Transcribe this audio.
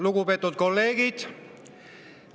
Lugupeetud kolleegid!